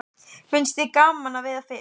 Finnst þér gaman að veiða fisk?